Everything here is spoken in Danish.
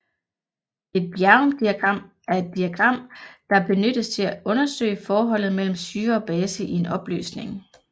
Et bjerrumdiagram er et diagram der benyttes til undersøge forholdet mellem syre og base i en opløsning